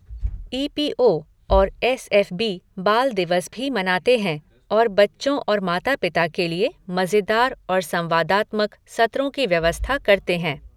ई P O और S F B बाल दिवस भी मनाते हैं और बच्चों और माता पिता के लिए मज़ेदार और संवादात्मक सत्रों की व्यवस्था करते हैं।